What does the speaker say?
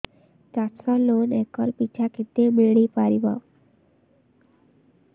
ଚାଷ loan acre ପିଛା କେତେ ମିଳି ପାରିବ